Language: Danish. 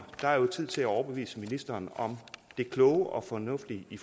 der er jo tid til at overbevise ministeren om det kloge og fornuftige i